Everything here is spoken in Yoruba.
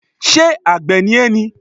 Ṣé àgbẹ̀ ni ẹ́ ni?